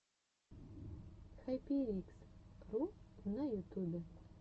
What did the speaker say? хайперикс ру на ютубе